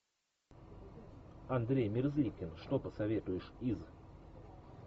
андрей мерзликин что посоветуешь из